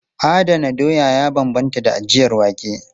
Adana doya ya bambanta da ajiyar wake.